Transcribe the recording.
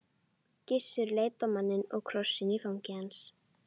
Gissur leit á manninn og krossinn í fangi hans.